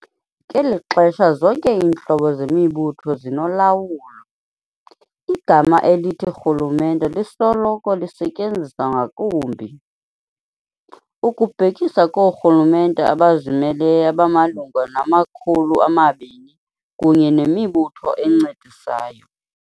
Ngelixesha zonke iintlobo zemibutho zinolawulo, igama elithi "rhulumente" lisoloko lisetyenziswa ngakumbi, ukubhekisa koorhulumente abazimeleyo abamalunga nama-200 kunye nemibutho encedisayo.